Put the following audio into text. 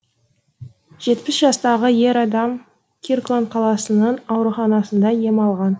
жетпіс жастағы ер адам киркланд қаласының ауруханасында ем алған